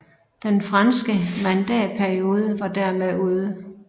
Den franske mandatperiode var dermed ude